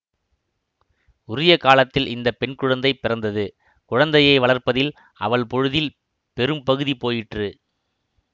உரிய காலத்தில் இந்த பெண் குழந்தை பிறந்தது குழந்தையை வளர்ப்பதில் அவள் பொழுதில் பெரும் பகுதி போயிற்று